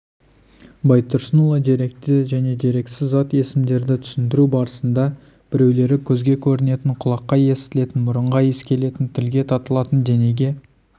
байтұрсынұлы деректі және дерексіз зат есімдерді түсіндіру барысында біреулері көзге көрінетін құлаққа естілетін мұрынға иіскелетін тілге татылатын денеге